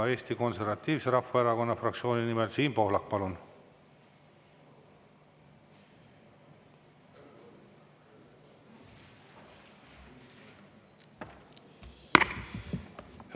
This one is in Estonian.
Eesti Konservatiivse Rahvaerakonna fraktsiooni nimel Siim Pohlak, palun!